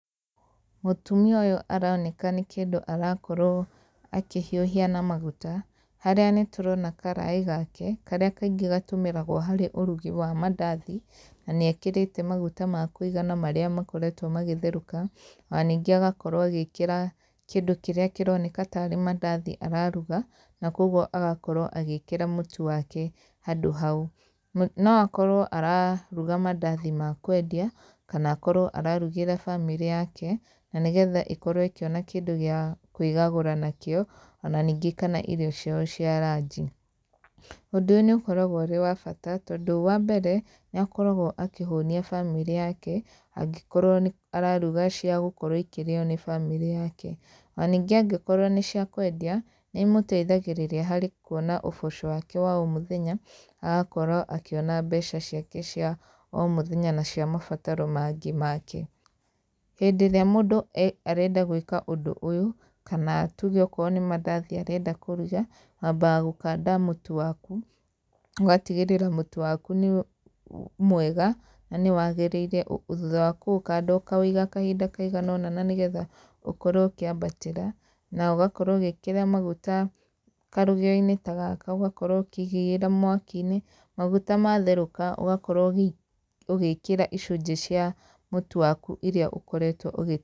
Mũtumia ũyũ aroneka nĩ kĩndũ arakorwo akĩhiũhia na maguta, harĩa nĩ tũrona karaĩ gake, karĩa kaingĩ gatũmĩragwo harĩ ũrugi wa mandathi. Na nĩ ekĩrĩte maguta ma kũigana marĩa makoretwo magĩtherũka, ona ningĩ agakorwo agĩkĩra kĩndũ kĩrĩa kĩroneka tarĩ mandathi araruga. Na kũguo agakorwo agĩkĩra mũtu wake handũ hau. No akorwo araruga mandathi ma kwendia, kana akorwo ararugĩra bamĩrĩ yake, na nĩgetha ĩkorwo ĩkĩona kĩndũ gĩa kwĩgagũra nakĩo, ona ningĩ kana irio ciao cia ranji. Ũndũ ũyũ n ĩũkoragwo ũrĩ wa batatondũ, wa mbere, nĩ akoragwo akĩhũnia bamĩrĩ yake, angĩkorwo nĩ araruga cia gũkorwo ĩkĩrĩo nĩ bamĩrĩ yake. Ona ningĩ angĩkorwo nĩ cia kwendia, nĩ imũteithagĩrĩria harĩ kuona ũboco wake wa o mũthenya, agakorwo akĩona mbeca ciake cia o mũthenya na cia mabataro mangĩ make. Hĩndĩ ĩrĩa mũndũ arenda gwĩka ũndũ ũyũ, kana tuge okorwo nĩ mandathi arenda kũruga, wambaga gũkanda mũtu waku, ũgatigĩrĩra mũtu waku nĩ mwega, na nĩ wagĩrĩire. Thutha wa kũũkanda ũkawĩiga kahinda kaigana ũna na nĩgetha ũkorwo ũkĩambatĩra. Na ũgakorwo ũgĩkĩra maguta karũgĩo-inĩ ta gaka ũgakorwo ũkĩigĩrĩra mwaki-inĩ. Maguta matherũka, ũgakorwo ũgĩkĩra icunjĩ cia, mũtu waku irĩa ũkoretwo ũgĩ.